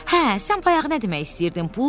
Hə, sən bayaq nə demək istəyirdin Pux?